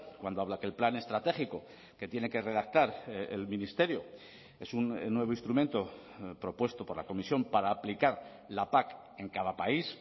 cuando habla que el plan estratégico que tiene que redactar el ministerio es un nuevo instrumento propuesto por la comisión para aplicar la pac en cada país